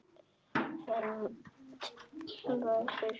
Fermt verður.